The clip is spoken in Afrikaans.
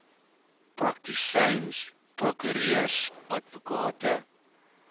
praktisyns prokureurs advokate